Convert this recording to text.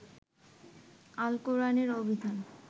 আল কোরআনের অভিধান